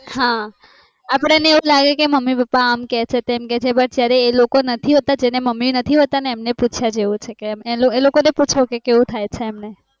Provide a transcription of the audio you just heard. હા અપડે ને એવું લાગે કે મમ્મી પપ્પા અમ કે છે તેમ કે છે એ લોકો નથી હોતા મમ્મી નથી હોતા ને એમને પૂછ્યા જેવું છે કે એ લોકો ને પૂછો કે કેવું થાય છે